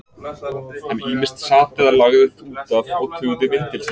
Hann ýmist sat eða lagðist út af og tuggði vindil sinn.